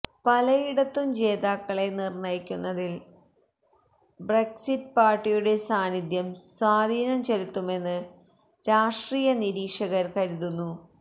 പലയിടത്തും ജേതാക്കളെ നിര്ണയിക്കുന്നതില് ബ്രക്സിറ്റ് പാര്ട്ടിയുടെ സാന്നിധ്യം സ്വാധീനം ചെലുത്തുമെന്ന് രാഷ്ട്രീയ നിരീക്ഷകര് കരുതുന്നു